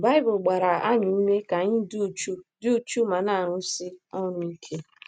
Baịbụl gbara anyị ume ka anyị dị uchu dị uchu ma na - arụsi ọrụ ike.